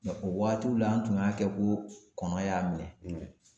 o waagatiw la an tun y'a kɛ ko kɔnɔ y'a minɛ;